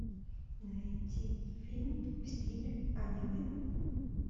найти фильм в стиле аниме